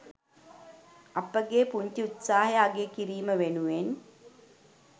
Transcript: අපගේ පුංචි උත්සාහය අගය කිරීම වෙනුවෙන්.